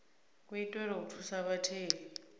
wo itelwa u thusa vhatheli